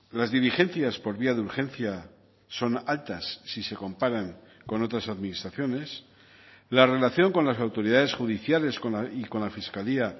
las diligencias por vía de urgencia son altas si se comparan con otras administraciones la relación con las autoridades judiciales y con la fiscalía